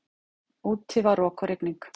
Úti var rok og rigning.